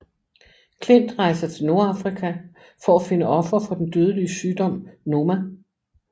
Klint rejser til Nordafrika for at finde ofre for den dødelig sygdom Noma